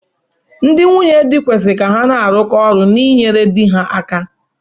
Ndị nwunye di kwesịri ka ha na-arụkọ ọrụ na inyere di ha aka